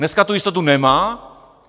Dneska tu jistotu nemá.